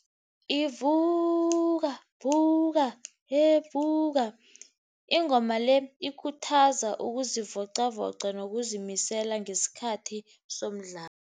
Ivuka vuka evuka, ingoma le ikhuthaza ukuzivocavoca nokuzimisela ngesikhathi somdlalo.